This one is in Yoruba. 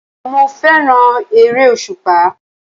Mo fẹ́ràn ère-òṣùpá.